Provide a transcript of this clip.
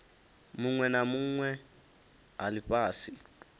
vhunwe na vhunwe ha lifhasi